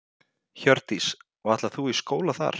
Hjördís: Og ætlar þú í skóla þar?